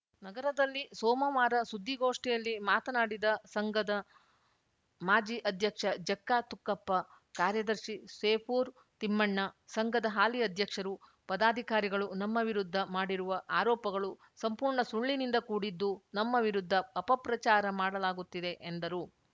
ನಗರದಲ್ಲಿ ಸೋಮವಾರ ಸುದ್ದಿಗೋಷ್ಠಿಯಲ್ಲಿ ಮಾತನಾಡಿದ ಸಂಘದ ಮಾಜಿ ಅಧ್ಯಕ್ಷ ಜಕ್ಕಾ ತುಕ್ಕಪ್ಪ ಕಾರ್ಯದರ್ಶಿ ಸೇಪೂರ್‌ ತಿಮ್ಮಣ್ಣ ಸಂಘದ ಹಾಲಿ ಅಧ್ಯಕ್ಷರು ಪದಾಧಿಕಾರಿಗಳು ನಮ್ಮ ವಿರುದ್ಧ ಮಾಡಿರುವ ಆರೋಪಗಳು ಸಂಪೂರ್ಣ ಸುಳ್ಳಿನಿಂದ ಕೂಡಿದ್ದು ನಮ್ಮ ವಿರುದ್ಧ ಅಪಪ್ರಚಾರ ಮಾಡಲಾಗುತ್ತಿದೆ ಎಂದರು